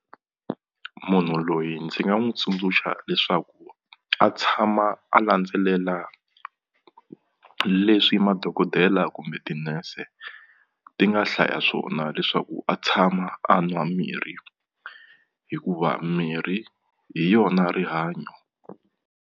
Munhu loyi ndzi nga n'wi tsundzuxa leswaku a tshama a landzelela leswi madokodela kumbe tinese ti nga hlaya swona leswaku a tshama a nwa mirhi hikuva mirhi hi yona rihanyo.